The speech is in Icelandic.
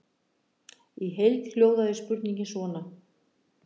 Í heild hljóðaði spurningin svona: